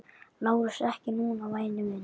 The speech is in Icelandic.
LÁRUS: Ekki núna, væni minn.